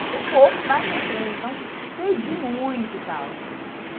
Estudei um pouco mais para frente, então perdi muito e tal.